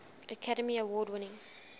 academy award winning